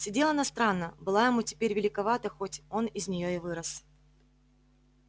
сидела она странно была ему теперь великовата хоть он из нее и вырос